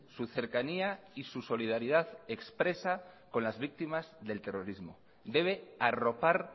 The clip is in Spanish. su cercanía y su solidaridad expresa con las víctimas del terrorismo debe arropar